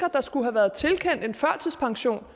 at der skulle have været tilkendt en førtidspension